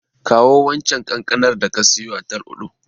Kawo waccen kankanar da ka siyo a Tal'udu.